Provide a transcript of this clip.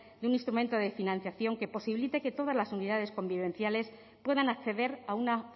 de un instrumento de financiación que posibilite que todas las unidades convivenciales puedan acceder a una